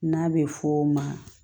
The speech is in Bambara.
N'a bɛ fɔ o ma